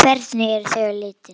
Hvernig eru þau á litinn?